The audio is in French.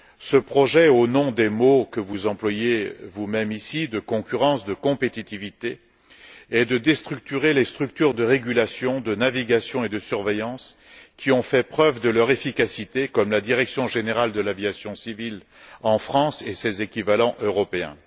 Ce projet, au nom des mots que vous employez vous même ici de concurrence et de compétitivité, est de déstructurer les structures de régulation, de navigation et de surveillance qui ont fait la preuve de leur efficacité, comme la Direction générale de l'aviation civile en France et ses équivalents européens.